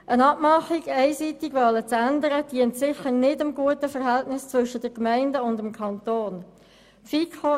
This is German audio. Es dient sicher nicht einem guten Verhältnis zwischen den Gemeinden und dem Kanton, wenn der Kanton eigenmächtig etwas ändert.